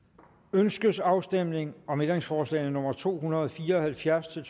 ønskes afstemning om ændringsforslag nummer to hundrede og fire og halvfjerds til